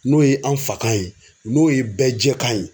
N'o ye an fakan ye n'o ye bɛɛ jɛkan ye